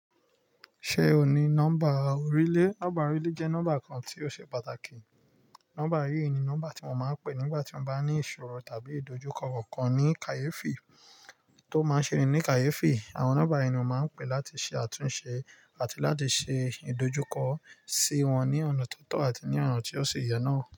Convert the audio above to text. Ṣé o ní nọ́mbà orílẹ̀? Nọ́mbà orílẹ̀ jẹ́ nọ́mbà kan tí ó ṣe pàtàkì. Nọ́mbà yìí ni nọ́mbà tí mo máa ń pè nígbà tí mo bá ní ìṣòro tàbí ìdojúkọ kankan ní kàyéfi tó máa ṣerin ní kàyéfi. Àwọn nọ́mbà yìí ni mo máa ń pè láti ṣe àtúnṣe àti láti ṣe ìdojúkọ sí wọn ní ọ̀nà tó tọ̀ àti ní ọ̀nà tí ó ṣe yẹ náà.